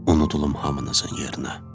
unudulum hamınızın yerinə.